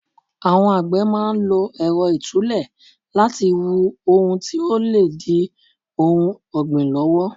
Àwọn àgbè máa ń lo Ẹ̀rọ itule láti wu ohun tí ó lè di ohun ọgbin lọ́wọ́.